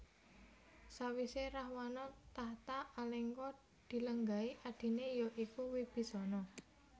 Sawisé Rahwana takhta Alengka dilenggahi adiné ya iku Wibisana